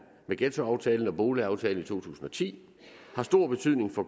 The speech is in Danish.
med ghettoaftalen og boligaftalen i to tusind og ti har stor betydning for